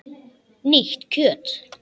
Nýtt kjöt!